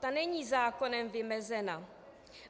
Ta není zákonem vymezená.